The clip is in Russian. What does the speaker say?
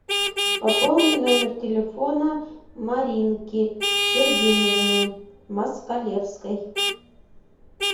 пополни номер телефона маринки сергеевны москалевской